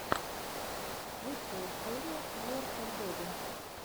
лучшая серия калор фор бэби